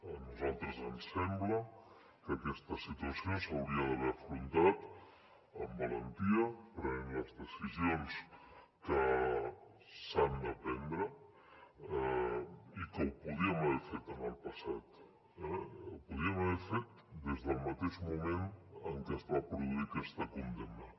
a nosaltres ens sembla que aquesta situació s’hauria d’haver afrontat amb valentia prenent les decisions que s’han de prendre i que ho podíem haver fet en el passat eh ho podíem haver fet des del mateix moment en què es va produir aquesta condemna